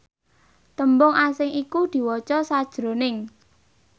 tembung asing iku diwaca sajroning